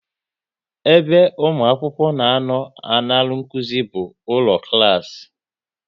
Ebe ụmụ akwụkwọ na anọ a ṅara nkụzi bụ ụlọ klas